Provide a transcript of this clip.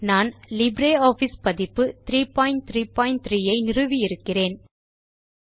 நான் லிப்ரியாஃபிஸ் பதிப்பு 333 ஐ நிறுவி இருக்கிறேன்